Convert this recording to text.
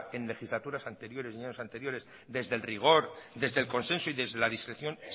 en legislaturas anteriores y en años anteriores desde el rigor desde el consenso y desde la discreción